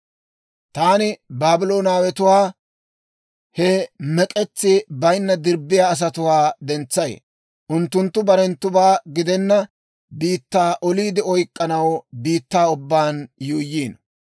Taani Baabloonawetuwaa, he mek'etsi bayinna dirbbiyaa asatuwaa dentsay. Unttunttu barenttubaa gidenna biittaa oliide oyk'k'anaw biittaa ubbaan yuuyyiino.